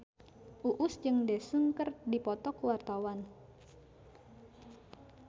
Uus jeung Daesung keur dipoto ku wartawan